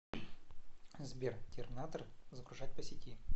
сбер терминатор загружать по сети